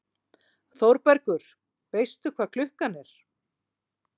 ÞÓRBERGUR: Veistu hvað klukkan er?